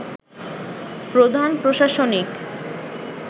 প্রধান প্রশাসনিক